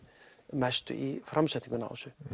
mestu í framsetningunni